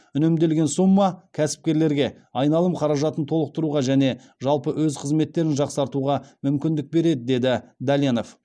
үнемделген сумма кәсіпкерлерге айналым қаражатын толықтыруға және жалпы өз қызметтерін жақсартуға мүмкіндік береді деді дәленов